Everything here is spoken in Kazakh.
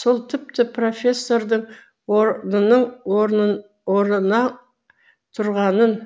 сол тіпті профессордың орнынан тұрғанын